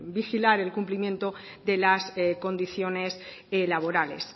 vigilar el cumplimiento de las condiciones laborales